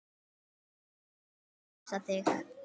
Að fá að knúsa þig.